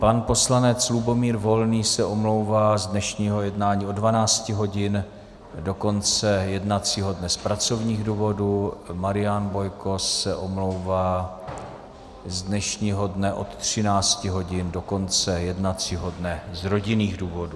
Pan poslanec Lubomír Volný se omlouvá z dnešního jednání od 12 hodin do konce jednacího dne z pracovních důvodů, Marian Bojko se omlouvá z dnešního dne od 13 hodin do konce jednacího dne z rodinných důvodů.